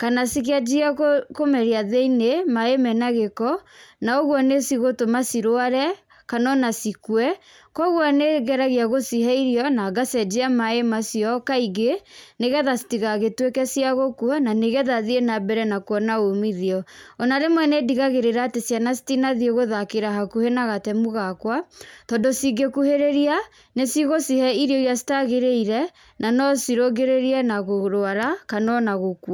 kana cikĩanjie kũmeria thĩiniĩ maĩ mena gĩko na ũguo nĩ cigũtũma cirware, kana ona cikue, kũguo nĩ ngeragia gũcihe irio, na ngacenjia maĩ macio kaingĩ nĩ getha citigagĩtuĩke cia gũkua na nĩ getha thiĩ na mbere na kuona umithio. Ona rĩmwe nĩ ndigagĩrĩra atĩ ciana citinathiĩ gũthakĩra hakuhĩ na gatemu gakwa, tondũ cingĩkuhĩrĩria nĩ cigucihe irio irĩa citagĩrĩire na no cirũngĩrĩrie na kũrwara kana ona gũkua.